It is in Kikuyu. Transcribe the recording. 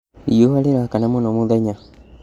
Riũa rĩrakana mũno mũthenya